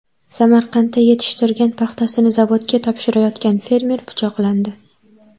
Samarqandda yetishtirgan paxtasini zavodga topshirayotgan fermer pichoqlandi.